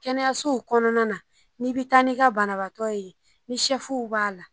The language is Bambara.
Kɛnɛyasow kɔnɔna na n'i bɛ taa n'i ka banabaatɔ ye ni b'a la